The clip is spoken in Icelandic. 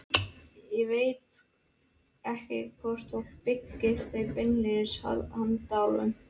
Ég veit ekki hvort fólk byggir þau beinlínis handa álfunum.